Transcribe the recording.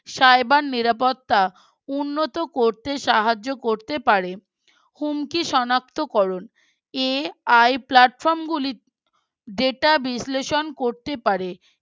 Cyber নিরাপত্তা উন্নত করতে সাহায্য করতে পারে হুমকি শনাক্তকরণ AI Platform গুলিতে Data বিশ্লেষণ করতে পারে